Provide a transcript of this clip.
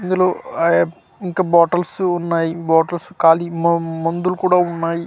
ఇందులో ఆ అబ్ ఇంకా బాటిల్స్ ఉన్నాయి బాటిల్స్ ఖాళీ మ మందులు కూడా ఉన్నాయి.